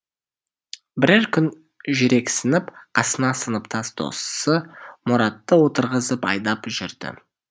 бірер күн жүрексініп қасына сыныптас досы мұратты отырғызып айдап жүрді